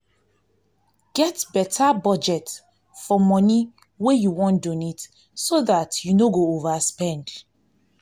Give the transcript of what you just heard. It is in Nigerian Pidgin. get better budget for money wey you wan donate so dat you no go overspend